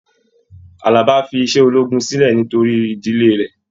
Àlàbá fí iṣẹ ológun sílẹ nítorí ìdílé rẹ.